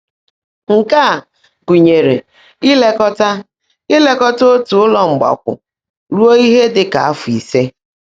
Nkè á gụ́nyèèré íléekọ́tá íléekọ́tá ótú Ụ́lọ́ Mgbákwọ́ rúó íhe ḍị́ kà áfọ́ íse.